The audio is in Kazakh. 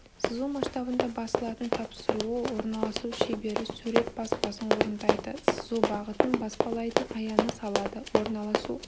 сызу масштабында басылатын тапсыруы орналасу шебері сурет баспасын орындайды сызу бағытын баспалайтын аяны салады орналасу